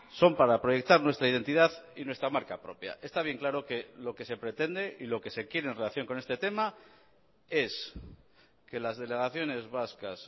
son para proyectar nuestra identidad y nuestra marca propia está bien claro que lo que se pretende y lo que se quiere en relación con este tema es que las delegaciones vascas